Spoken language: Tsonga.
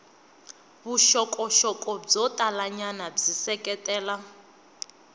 vuxokoxoko byo talanyana byi seketela